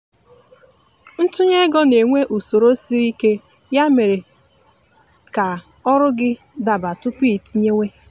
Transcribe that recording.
ntunye ego na-enwe usoro sịrị ike ya mere mee ka ọrụ gị gị daba tupu iitinyewe